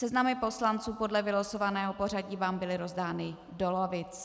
Seznamy poslanců podle vylosovaného pořadí vám byly rozdány do lavic.